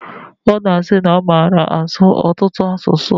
Ọ na-asi na ọ mara asụ ọtụtụ asụsụ.